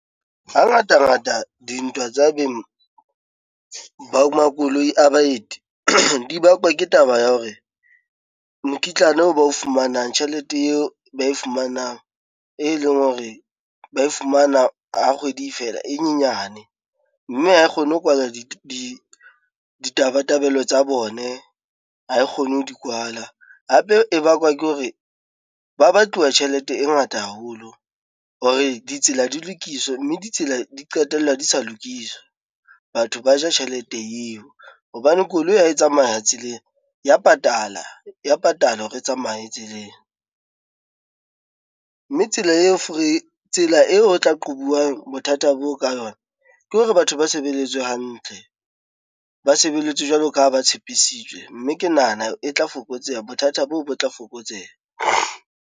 Hangatangata dintwa tsa beng, ba makoloi a baeti di bakwa ke taba ya hore mokitlane oo ba o fumanang, tjhelete eo ba e fumanang e leng hore ba e fumana ha kgwedi e fela e nyenyane, mme ha e kgone ho kwala ditabatabelo tsa bone ha e kgone ho di kwala. Hape e bakwa ke hore, ba batluwa tjhelete e ngata haholo hore ditsela di lokiswe, mme ditsela di qetella di sa lokiswa batho ba ja tjhelete eo. Hobane koloi ha e tsamaya tseleng ya patala, ya patala hore e tsamaye tseleng, mme tsela eo fore tsela eo o tla qobuwa bothata bo ka yona ke hore batho ba sebeletswe hantle, ba sebelletswe jwalo ka ha ba tshepisitswe, mme ke nahana e tla fokotseha bothata boo bo tla fokotseha.